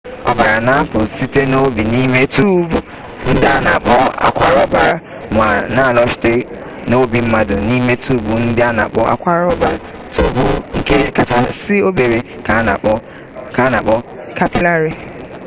ọbara na-apụ site n'obi n'ime tuubu ndị a na-akpọ akwara ọbara ma na-alọghachi n'obi mmadụ n'ime tuubu ndị a na-akpọ akwara ọbara tuubu ndị kachasị obere ka a na-akpọ kapịlarị